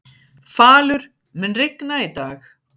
Falur, mun rigna í dag?